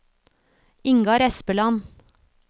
Ingar Espeland